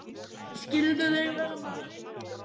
Skyldu þeir vera margir?